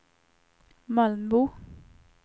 Mölnbo